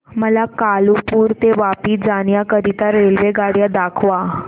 मला कालुपुर ते वापी जाण्या करीता रेल्वेगाड्या दाखवा